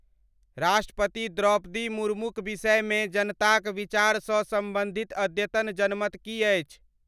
राष्ट्रपति द्रौपदी मुर्मूक विषयमे जनताक विचार सँ सम्बंधित अद्यतन जनमत की अछि